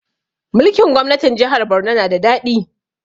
Mulkin gwamnatin jahar Borno na da daɗi